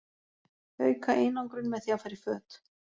Auka einangrun með því að fara í föt.